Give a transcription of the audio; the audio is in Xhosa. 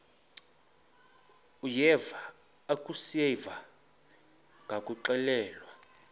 uyeva akuseva ngakuxelelwa